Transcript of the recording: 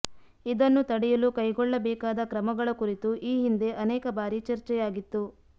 ಇದನ್ನು ತಡೆಯಲು ಕೈಗೊಳ್ಳಬೇಕಾದ ಕ್ರಮಗಳ ಕುರಿತು ಈ ಹಿಂದೆ ಅನೇಕ ಬಾರಿ ಚರ್ಚೆಯಾಗಿತ್ತು